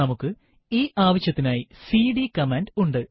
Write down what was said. നമുക്ക് ഈ ആവശ്യത്തിനായി സിഡി കമാൻഡ് ഉണ്ട്